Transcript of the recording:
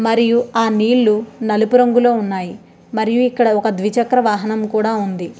మరియు ఆ నీళ్లు నలుపు రంగులో ఉన్నాయి. మరియు ఇక్కడ ఒక ద్విచక్ర వాహనం కూడా ఉంది.